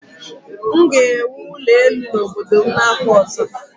M ga-ewu ụlọ elu n'obodo m n'afọ ọzọ.